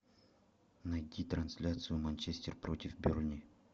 найди трансляцию манчестер против бернли